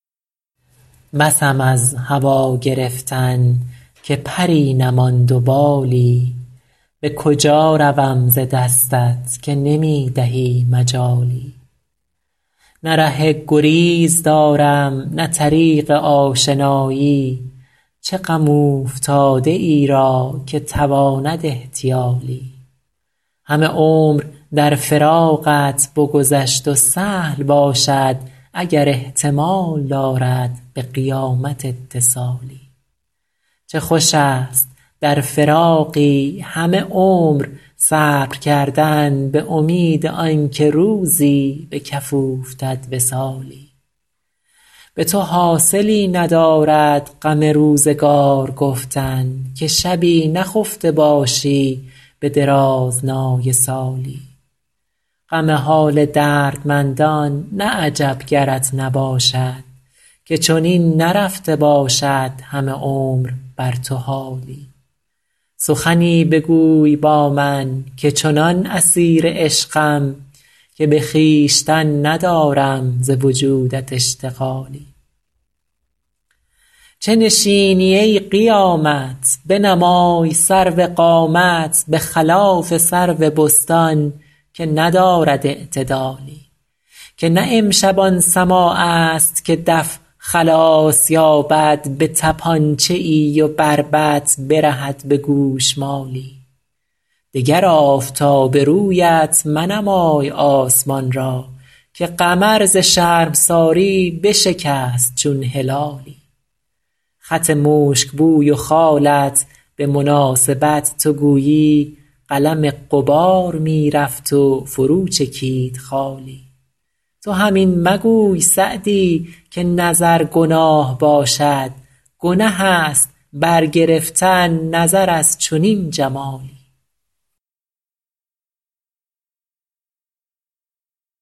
بسم از هوا گرفتن که پری نماند و بالی به کجا روم ز دستت که نمی دهی مجالی نه ره گریز دارم نه طریق آشنایی چه غم اوفتاده ای را که تواند احتیالی همه عمر در فراقت بگذشت و سهل باشد اگر احتمال دارد به قیامت اتصالی چه خوش است در فراقی همه عمر صبر کردن به امید آن که روزی به کف اوفتد وصالی به تو حاصلی ندارد غم روزگار گفتن که شبی نخفته باشی به درازنای سالی غم حال دردمندان نه عجب گرت نباشد که چنین نرفته باشد همه عمر بر تو حالی سخنی بگوی با من که چنان اسیر عشقم که به خویشتن ندارم ز وجودت اشتغالی چه نشینی ای قیامت بنمای سرو قامت به خلاف سرو بستان که ندارد اعتدالی که نه امشب آن سماع است که دف خلاص یابد به طپانچه ای و بربط برهد به گوشمالی دگر آفتاب رویت منمای آسمان را که قمر ز شرمساری بشکست چون هلالی خط مشک بوی و خالت به مناسبت تو گویی قلم غبار می رفت و فرو چکید خالی تو هم این مگوی سعدی که نظر گناه باشد گنه است برگرفتن نظر از چنین جمالی